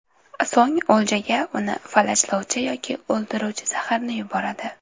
So‘ng o‘ljaga uni falajlovchi yoki o‘ldiruvchi zaharni yuboradi.